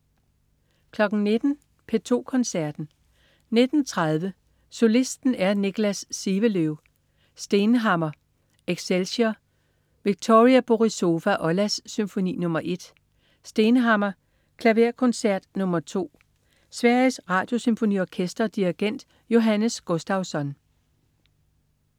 19.00 P2 Koncerten. 19.30 Solisten er Niklas Sivelöv. Stenhammar: Excelsior. Victoria Borisova-Ollas: Symfoni nr. 1. Stenhammar: Klaverkoncert nr. 2. Sveriges Radiosymfoniorkester. Dirigent: Johannes Gustavsson